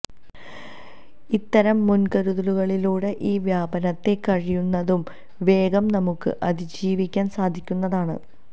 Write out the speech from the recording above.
ഇത്തരം മുൻകരുതലുകളിലൂടെ ഈ വ്യാപനത്തെ കഴിയുന്നതും വേഗം നമുക്ക് അതിജീവിക്കാൻ സാധിക്കുന്നതാണ്